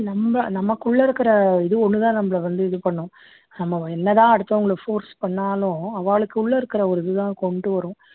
நம்ம நமக்குள்ள இருக்குற இது ஒண்ணு தான் நம்மளை வந்து இது பண்ணும் நம்ம என்ன தான் அடுத்தவங்களை force பண்ணாலும் அவாளுக்குள்ள இருக்க ஒரு இது தான் கொண்டு வரும்